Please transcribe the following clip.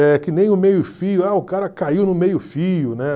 É que nem o meio fio, ah o cara caiu no meio fio, né?